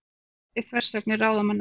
Óþolandi þversagnir ráðamanna